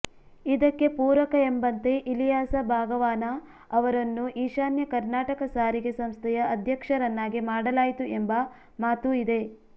ಇದಕ್ಕೆ ಪೂರಕ ಎಂಬಂತೆ ಇಲಿಯಾಸ ಬಾಗವಾನ ಅವರನ್ನು ಈಶಾನ್ಯ ಕರ್ನಾಟಕ ಸಾರಿಗೆ ಸಂಸ್ಥೆಯ ಅಧ್ಯಕ್ಷರನ್ನಾಗಿ ಮಾಡಲಾಯಿತು ಎಂಬ ಮಾತೂ ಇದೆ